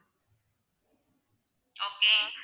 okay